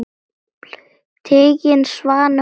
Tiginn svanni krónu ber.